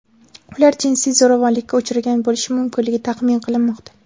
Ular jinsiy zo‘ravonlikka uchragan bo‘lishi mumkinligi taxmin qilinmoqda.